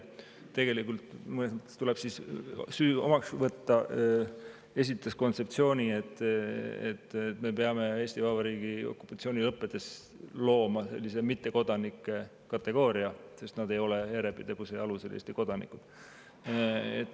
Tegelikult, muide, mõnes mõttes tuleb mul süü omaks võtta, sest ma esitasin kontseptsiooni, et me peame Eesti Vabariigi okupatsiooni lõppedes looma sellise mittekodanike kategooria, sest nad ei ole järjepidevuse alusel Eesti kodanikud.